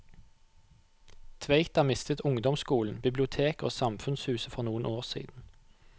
Tveita mistet ungdomsskolen, biblioteket og samfunnshuset for noen år siden.